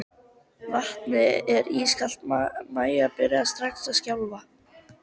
Vatnið var ískalt og Maja byrjaði strax að skjálfa.